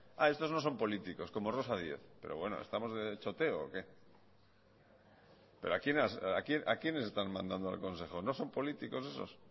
esos no son políticos como rosa díez pero bueno estamos de choteo o qué a quiénes están mandando al consejo no son políticos esos